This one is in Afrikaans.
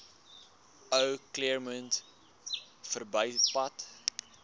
ou claremont verbypad